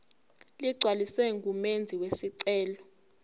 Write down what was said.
ligcwaliswe ngumenzi wesicelo